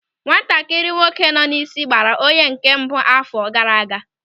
Nwatakịrị nwoke nọ n'isi gbara onye nke mbụ n'àfọ́ gaara aga.